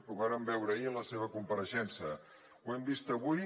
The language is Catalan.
ho vàrem veure ahir en la seva compareixença ho hem vist avui